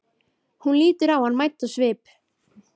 Hún lítur á hann mædd á svip.